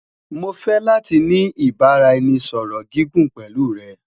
Mo fẹ lati ni ibaraẹnisọrọ gigun pẹlu rẹ